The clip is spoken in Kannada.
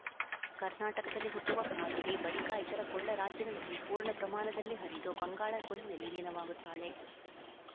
ಕರ್ನಾಟಕದಲ್ಲಿ ಹುಟ್ಟುವ ಕಾವೇರಿ ಬಳಿಕ ಇತರ ಕೊಳ್ಳ ರಾಜ್ಯಗಳಲ್ಲಿ ಪೂರ್ಣ ಪ್ರಮಾಣದಲ್ಲಿ ಹರಿದು ಬಂಗಾಳ ಕೊಲ್ಲಿಯಲ್ಲಿ ಲೀನವಾಗುತ್ತಾಳೆ